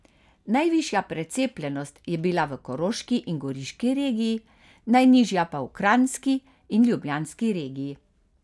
Najvišja precepljenost je bila v koroški in goriški regiji, najnižja pa v kranjski in ljubljanski regiji.